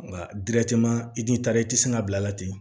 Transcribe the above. Nka i t'i taara i tɛ sɔn ka bila a la ten